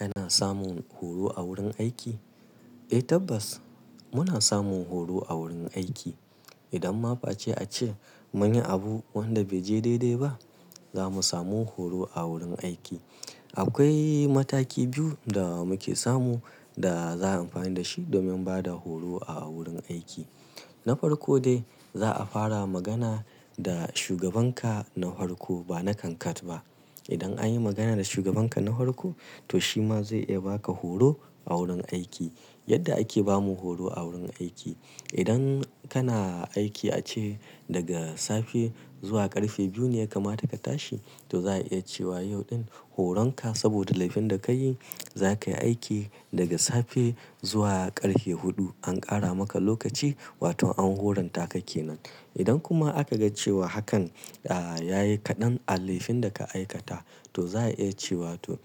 Ana samun horo a wurin aiki? Eh tabbas muna samun horo a wurin aiki. Idan ma face ace mun yi abu wanda bai je daidai ba, zamu samu horo a wurin aiki. Akwai mataki biyu da muke samu da za a amfani da shi domin bada horo a wurin aiki. Na farko dai za a fara magana da shugabanka na farko ba na kankat ba. Idan an yi magana da shugabanka na farko, to shi ma zai iya baka horo a wurin aiki. Yadda ake bamu horo a wurin aiki. Idan kana aiki ace daga safe zuwa ƙarfe biyu ne ya kamata ka tashi, to za a iya cewa yau ɗin horonka saboda laifin da kayi zakayi aiki daga safe zuwa ƙarfe huɗu. An ƙara maka lokaci wato an horonta ka kenan. Idan kuma aka ga cewa hakan ya yi kaɗan a laifin da ka aikata, to za a iya cewa to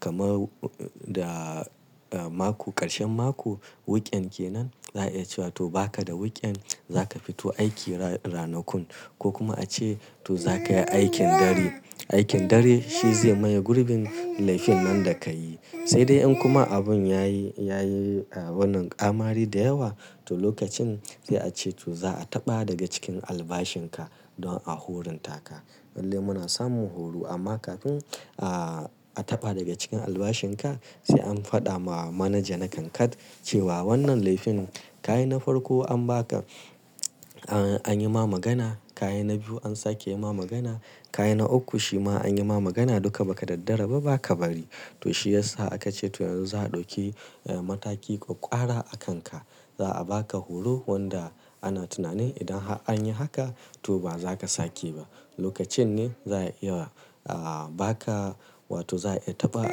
kamar da mako ƙarshen mako wiken kenan za a iya cewa to baka da wiken zaka fito aiki ranakun ko kuma ace to zakayi aikin dare. Aikin dare shi zai maye gurbin laifin nan da kayi. Sai dai in kuma abun yayi, yayi wannan ƙamari da yawa to lokacin sai ace to za a taɓa daga cikin albashin ka don a horonta ka. Lallai muna samun horo amma kafin a taɓa daga cikin albashin ka sai an faɗa ma manaja na kankat cewa wannan laifin ka yi na farko an baka an yi ma magana, ka yi na biyu an sake yi ma magana, ka yi na uku shi ma an yi ma magana duka ba ka daddara ba ba ka bari. To shiyasa aka ce to yanzu za a ɗauki mataki ƙwaƙwara a kanka. Za a baka horo wanda ana tunani idan har an yi haka to ba za ka sake ba. Lokacin ne za a iya baka wato za a iya taɓa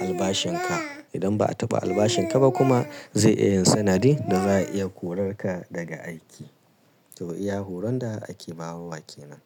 albashin ka. Idan ba a taɓa albashin ka ba kuma zai iya yin sanadi da za a iya korar ka daga aiki. To iya horon da ake bawa wa kenan.